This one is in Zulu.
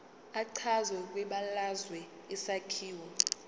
echazwe kwibalazwe isakhiwo